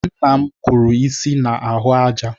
Nna m kụrụ isi ya na ahụ àjà